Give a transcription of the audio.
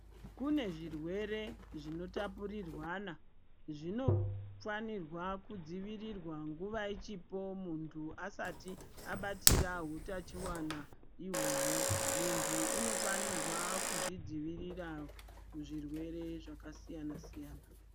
Kune zvirwere zvinotapurirwana zvinofana kudzivirirwa nguwa ichipo muntu asati abatira hutachiwana Uhu muntu unofana kuzvidzivirira kuzvirwere zvakasiyana.